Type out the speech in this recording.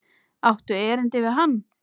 Áttu erindi við hann?